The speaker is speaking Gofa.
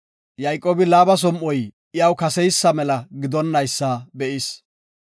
Yayqoobi Laaba som7oy iyaw kase mela gidonaysa be7is.